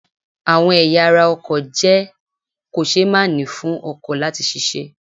Àwọn ẹ̀yà ará ọkọ̀ jẹ́ kò ṣée màá ni fún ọkọ̀ láti ṣiṣẹ́